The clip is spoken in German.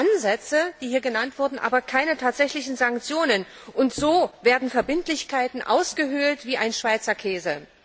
Es gibt zwar Ansätze, die hier genannt wurden, aber keine tatsächlichen Sanktionen, und so werden Verbindlichkeiten ausgehöhlt wie ein Schweizer Käse.